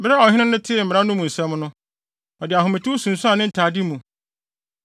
Bere a ɔhene no tee mmara no mu nsɛm no, ɔde ahometew sunsuan ne ntade mu.